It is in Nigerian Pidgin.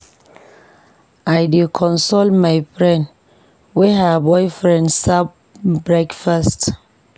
I dey console my friend wey her boyfriend serve breakfast.